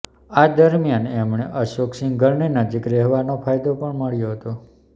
આ દરમિયાન એમણે અશોક સિંઘલની નજીક રહેવાનો ફાયદો પણ મળ્યો હતો